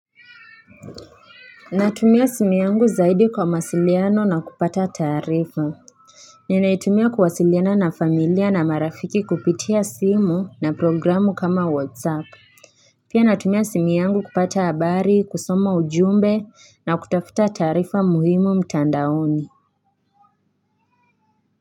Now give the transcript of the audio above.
Natumia simu yangu zaidi kwa mawasiliano na kupata taarifa Ninaitumia kuwasiliana na familia na marafiki kupitia simu na programu kama whatsapp Pia natumia simu yangu kupata habari kusoma ujumbe na kutafuta taarifa muhimu mtandaoni.